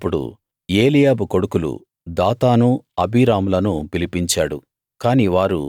మోషే అప్పుడు ఏలీయాబు కొడుకులు దాతాను అబీరాములను పిలిపించాడు